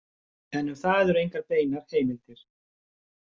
En um það eru engar beinar heimildir.